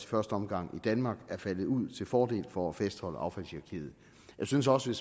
første omgang i danmark er faldet ud til fordel for at fastholde affaldshierarkiet jeg synes også